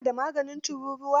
ku na da maganin tururuwa?